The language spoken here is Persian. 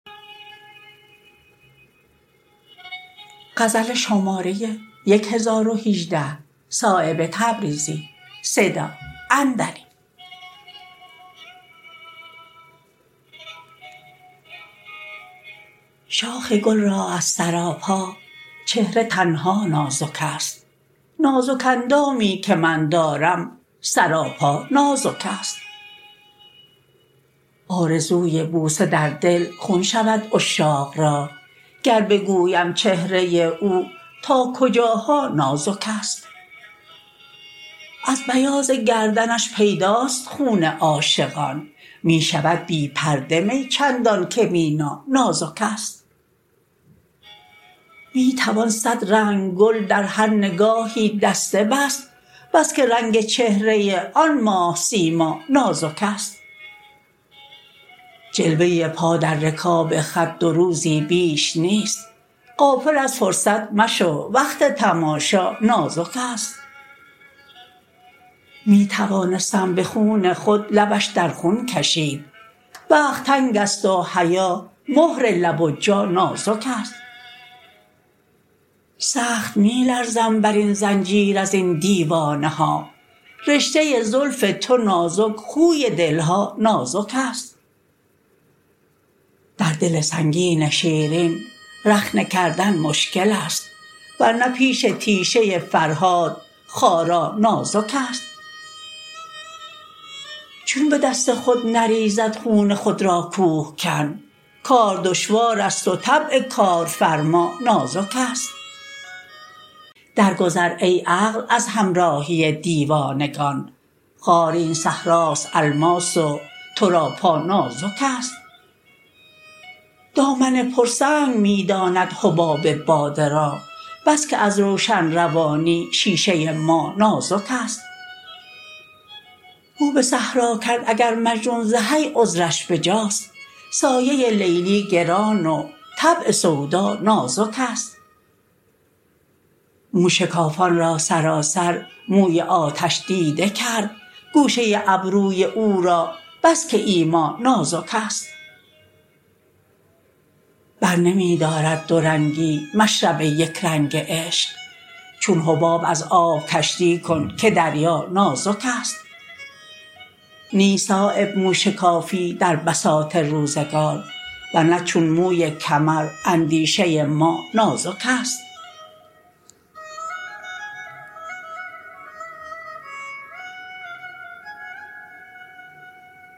شاخ گل را از سراپا چهره تنها نازک است نازک اندامی که من دارم سراپا نازک است آرزوی بوسه در دل خون شود عشاق را گر بگویم چهره او تا کجاها نازک است از بیاض گردنش پیداست خون عاشقان می شود بی پرده می چندان که مینا نازک است می توان صد رنگ گل در هر نگاهی دسته بست بس که رنگ چهره آن ماه سیما نازک است جلوه پا در رکاب خط دو روزی بیش نیست غافل از فرصت مشو وقت تماشا نازک است می توانستم به خون خود لبش در خون کشید وقت تنگ است و حیا مهر لب و جا نازک است سخت می لرزم بر این زنجیر ازین دیوانه ها رشته زلف تو نازک خوی دلها نازک است در دل سنگین شیرین رخنه کردن مشکل است ورنه پیش تیشه فرهاد خارا نازک است چون به دست خود نریزد خون خود را کوهکن کار دشوار است و طبع کارفرما نازک است در گذر ای عقل از همراهی دیوانگان خار این صحرا است الماس و تو را پا نازک است دامن پر سنگ می داند حباب باده را بس که از روشن روانی شیشه ما نازک است رو به صحرا کرد اگر مجنون ز حی عذرش بجاست سایه لیلی گران و طبع سودا نازک است موشکافان را سراسر موی آتش دیده کرد گوشه ابروی او را بس که ایما نازک است بر نمی دارد دو رنگی مشرب یکرنگ عشق چون حباب از آب کشتی کن که دریا نازک است نیست صایب موشکافی در بساط روزگار ورنه چون موی کمر اندیشه ما نازک است